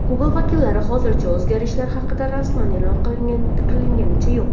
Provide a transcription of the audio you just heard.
Google vakillari hozircha o‘zgarishlar haqida rasman e’lon qilganicha yo‘q.